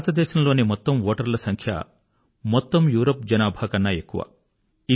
భారతదేశంలోని మొత్తం ఓటర్ల సంఖ్య మొత్తం యూరప్ జనాభాకన్నా ఎక్కువ